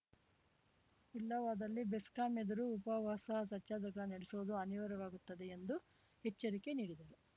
ಇಲ್ಲವಾದಲ್ಲಿ ಬೆಸ್ಕಾಂ ಎದುರು ಉಪವಾಸ ಸತ್ಯಾಗ್ರಹ ನಡೆಸುವುದು ಅನಿವಾರ್ಯವಾಗುತ್ತದೆ ಎಂದು ಎಚ್ಚರಿಕೆ ನೀಡಿದರು